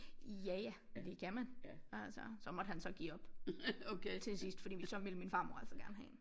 Ja ja det kan man altså så måtte han så give op til sidst fordi så ville min farmor altså gerne have én